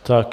Tak.